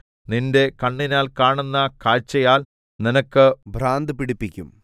നിന്റെ കണ്ണിനാൽ കാണുന്ന കാഴ്ചയാൽ നിനക്ക് ഭ്രാന്തു പിടിപ്പിക്കും